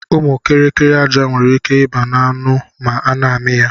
Ụmụ kiri kiri aja nwere ike iba na anụ ma ana ami ya.